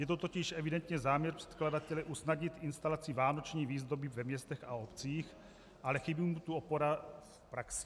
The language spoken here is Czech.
Je to totiž evidentně záměr předkladatele usnadnit instalaci vánoční výzdoby ve městech a obcích, ale chybí mu tu opora v praxi.